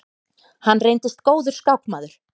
Hann reyndist góður skákmaður.